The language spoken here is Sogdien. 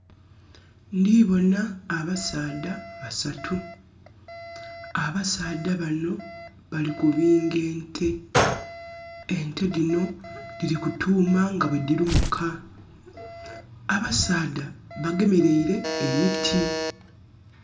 Ndiboona abasaadha basatu, abasaadha bano bali kubinga ente, ente dino dhiri kutuuma nga bwe dirumuka. Abasaadha bagemereire emiti.